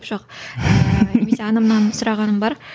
жоқ ыыы немесе анамнан сұрағаным бар